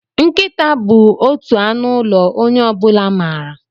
Nkịta bụ otu anụ ụlọ onye ọ bụla maara.